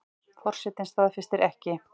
Forsetinn staðfestir ekki